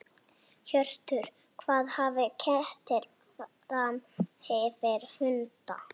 Hjörtur: Hvað hafa kettir fram yfir hunda?